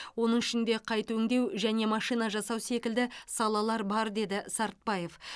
оның ішінде қайта өңдеу және машина жасау секілді салалар бар деді сартбаев